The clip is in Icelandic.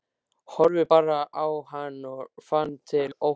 Horfði bara á hann og fann til ótta.